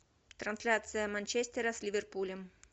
трансляция манчестера с ливерпулем